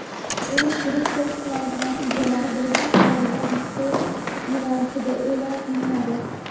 uning kirish test sinovi natijalari birinchi tanlagan litsey yo‘nalishida e’lon qilinadi.